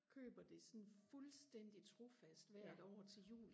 køber det sådan fuldstændig trofast hvert år til jul